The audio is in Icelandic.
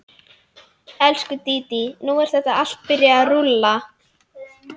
Elsku, Dídí, nú er þetta allt byrjað að rúlla.